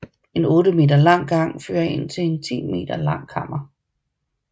En 8 meter lang gang fører ind til et 10 meter langt kammer